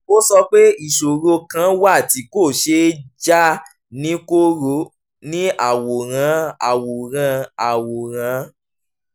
ó sọ pé ìṣòro kan wà tí kò ṣeé já ní koro ní àwòrán àwòrán àwòrán